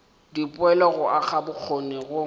dipoelo go aga bokgoni go